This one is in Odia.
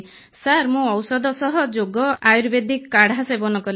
ସାର୍ ମୁଁ ଔଷଧ ସହ ଯୋଗ ଆୟୁର୍ବେଦିକ କାଢ଼ା ସେବନ କଲି